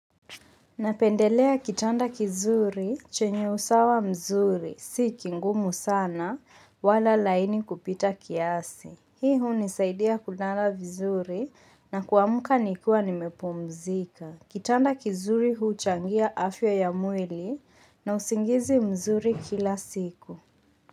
Napendelea kitanda kizuri, chenye usawa mzuri, si kigumu sana, wala laini kupita kiasi. Hii hunisaidia kulala vizuri na kuamka nikiwa nimepumzika. Kitanda kizuri huchangia afya ya mwili na usingizi mzuri kila siku.